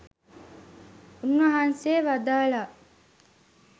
උන්වහන්සේ වදාළා